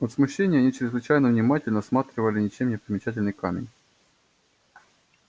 от смущения они чрезвычайно внимательно осматривали ничем не примечательный камень